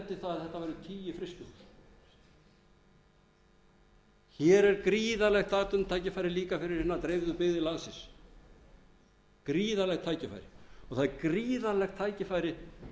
að þetta væru tíu frystitogarar hér er gríðarlegt atvinnutækifæri líka fyrir hinar dreifðu byggðir landsins gríðarlegt tækifæri og það er gríðarlegt tækifæri